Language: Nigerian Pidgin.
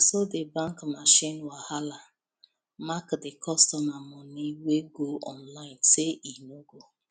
na so the bank machine wahala mark the customer money wey go online say e no go